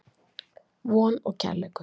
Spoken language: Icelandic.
Von og Kærleikur.